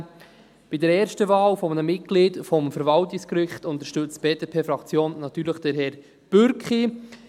Bei der ersten Wahl eines Mitglieds des Verwaltungsgerichts unterstützt die BDP-Fraktion natürlich Herrn Bürki.